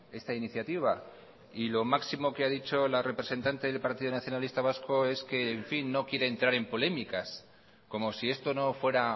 esta iniciativa y lo máximo que ha dicho la representante del partido nacionalista vasco es que en fin no quiere entrar en polémicas como si esto no fuera